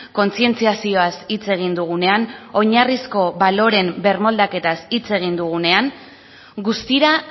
kontzientziazioaz hitz egin dugunean oinarrizko baloreen birmoldaketaz hitz egin dugunean guztira